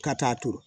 Ka taa turu